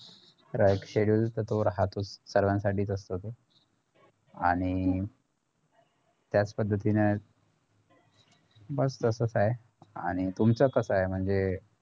तर schedule तर तो राहतोच सर्वांसाठीच असतो तो आणि त्याच पद्धतीने बघ कास काय आणि तुमचं कास काय म्हणजे